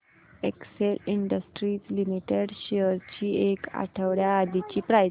Excel Industries Limited shares ची एक आठवड्या आधीची प्राइस